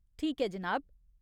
ठीक ऐ जनाब।